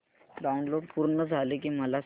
download पूर्ण झालं की मला सांग